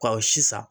Ka sisan